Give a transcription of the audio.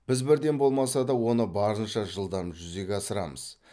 біз бірден болмаса да оны барынша жылдам жүзеге асырамыз